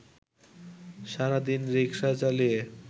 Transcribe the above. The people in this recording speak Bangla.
সারাদিন রিক্সা চালিয়ে